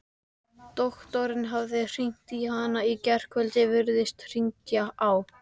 Doktorinn hafði hringt í hana í gærkvöldi, virðist hringja á